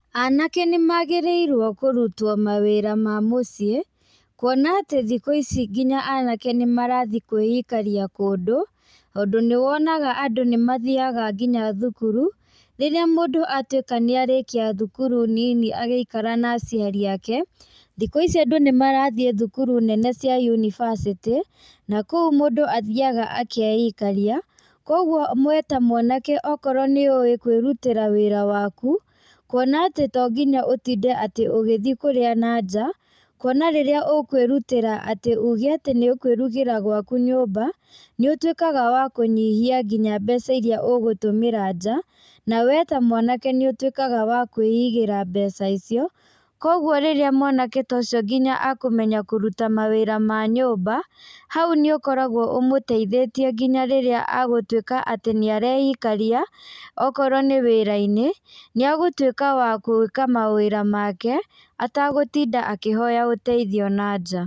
Anake nĩmagĩrĩirwo kũrutwo mawĩra ma mũciĩ, kuona atĩ thikũ ici nginya anake nĩmarathiĩ kwĩikaria kũndũ, tondũ nĩwonaga andũ nĩmathiaga nginya thukuru, rĩrĩa mũndũ atwĩka nĩ arĩkia thukuru nini agĩikara na aciari ake, thikũ ici andũ nĩmarathiĩ thukuru nene cia yunibacĩtĩ, na kũu mũndũ athiaga akaeikaria, koguo we ta mwanake okorwo nĩũĩ kwĩrutĩra wĩra waku, kuona atĩ tonginya ũtinde ũgĩthi kũrĩa nanjaa, kuona rĩrĩa ũkwĩrutĩra atĩ uge atĩ nĩũkwĩrugĩra gwaku nyũmba, nĩũtwĩkaga wa kũnyihia nginya mbeca iria ũgũtũmĩra njaa, na we ta mwanake nĩũtwĩkaga wa kwĩigĩra mbeca icio, koguo rĩría mwanake ta ũcio nginya akũmenya kũruta mawĩra ma nyũmba, hau nĩũkoragwo ũmũteithĩtie nginya rĩrĩa agũtwĩka atĩ nĩareikaria, okorwo nĩ wĩra-inĩ, nĩagũtwĩka wa kwĩka mawĩra make atagũtinda akĩhoya ũteithio nanjaa.